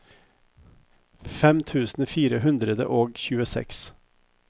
fem tusen fire hundre og tjueseks